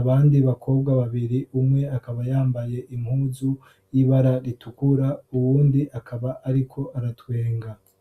abandi bakobwa babiri umwe akaba yambaye impuzu y'ibara ritukura uwundi akaba ariko aratwenga